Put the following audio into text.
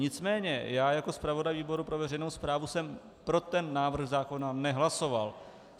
Nicméně já jako zpravodaj výboru pro veřejnou správu jsem pro ten návrh zákona nehlasoval.